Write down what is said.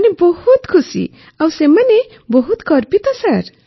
ସେମାନେ ବହୁତ ଖୁସି ଆଉ ସେମାନେ ବହୁତ ଗର୍ବିତ ସାର୍